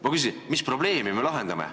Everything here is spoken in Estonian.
Ma küsin, mis probleemi me lahendame.